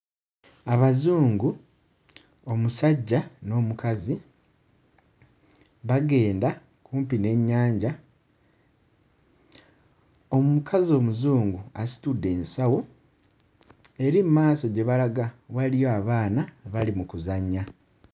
Abazungu; omusajja n'omukazi bagenda kumpi n'ennyanja. Omukazi Omuzungu asitudde ensawo era emmaaso gye balaga waliyo abaana bali mu kuzannya.